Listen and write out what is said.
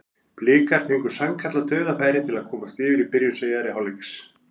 Blikar fengu sannkallað dauðafæri til að komast yfir í byrjun síðari hálfleiks.